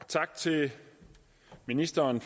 tak til ministeren